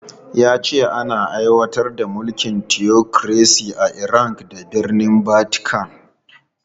Ya ce ana aiwatar da tsarin mulkin tiyokiresi a Iran da birnin Vatican.